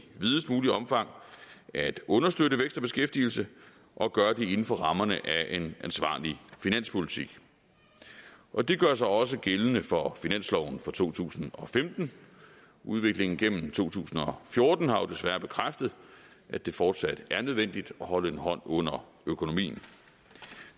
videst muligt omfang at understøtte vækst og beskæftigelse og gøre det inden for rammerne af en ansvarlig finanspolitik og det gør sig også gældende for finansloven for to tusind og femten udviklingen gennem to tusind og fjorten har jo desværre bekræftet at det fortsat er nødvendigt at holde en hånd under økonomien